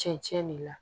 Cɛncɛn de la